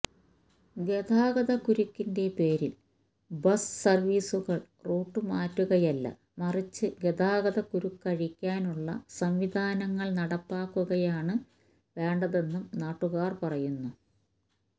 ഗതാഗതക്കുരുക്കിന്റെ പേരിൽ ബസ് സർവീസുകൾ റൂട്ടുമാറ്റുകയല്ല മറിച്ച് ഗതാഗതക്കുരുക്കഴിക്കാനുള്ള സംവിധാനങ്ങൾ നടപ്പാക്കുകയാണ് വേണ്ടതെന്നും നാട്ടുകാർ പറയുന്നു